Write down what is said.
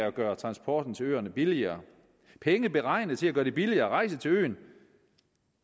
at gøre transporten til øerne billigere penge beregnet til at gøre det billigere at rejse til øen